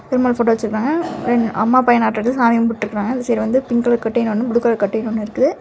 Perumal photo வச்சிருக்காங்க then அம்மா பையன்னாட்ருக்கு சாமி கும்பிட்டு இருக்காங்க இந்த சைடு வந்து பிங்க் கலர் கட்டைன் ஒன்னு ப்ளூ கலர் கட்டைன் ஒன்னு இருக்கு.